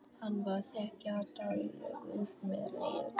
Hann var þegjandalegur með meira móti.